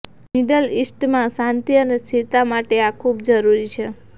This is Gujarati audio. મિડલ ઇસ્ટમાં શાંતિ અને સ્થિરતા માટે આ ખૂબ જરૂરી છે